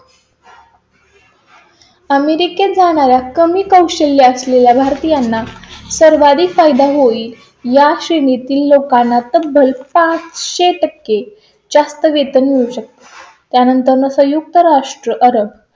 अमेरिकेत जाणारा कमी कौशल्य असलेल्या भारतीयांना सर्वाधिक फायदा होईल. या श्रेणी तील लोकांना तब्बल पाच सो टक्के जास्त वेतन मिळू शकते. त्यानंतर संयुक्त राष्ट्र रब